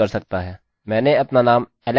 नामname अभी भी एलेक्सalex है